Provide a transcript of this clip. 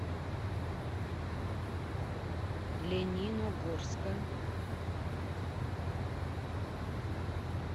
лениногорска